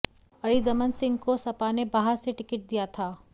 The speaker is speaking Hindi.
अरिदमन सिंह को सपा ने बाह से टिकट दिया था